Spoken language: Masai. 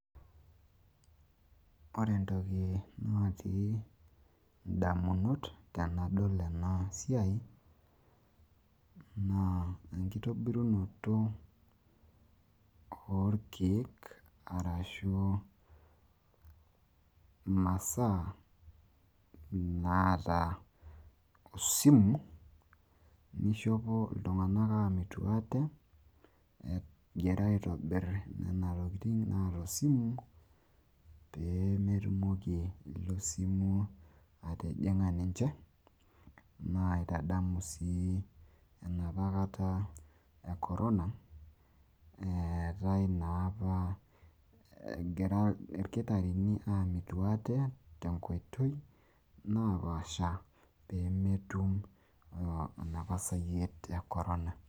ore entoki natii idamunot tenadol ena siai, naa enitobirunoto oorkeek, arashu imasaa, naata osimu, ishopo iltung'anak egira aamitu aate, egira aibung' intokitin naata osimu, pee metumoki. osimu atijing'a ninche, naitadamu enapa kata e corona egira ilkitarini aamitu aate enapa kata eetae esayiet e korona.